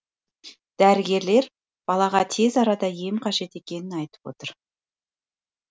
дәрігерлер балаға тез арада ем қажет екенін айтып отыр